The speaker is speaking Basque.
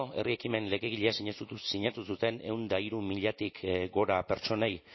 herri ekimen legegile sinatu zuten ehun eta hiru milatik gora pertsonei